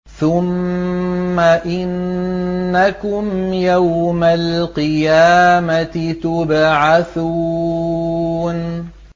ثُمَّ إِنَّكُمْ يَوْمَ الْقِيَامَةِ تُبْعَثُونَ